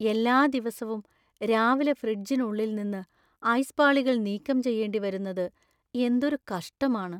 എല്ലാ ദിവസവും രാവിലെ ഫ്രിഡ്ജിനുള്ളിൽ നിന്ന് ഐസ് പാളികൾ നീക്കം ചെയ്യേണ്ടിവരുന്നത് എന്തൊരു കഷ്ടമാണ് .